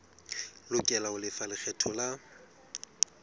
lokela ho lefa lekgetho la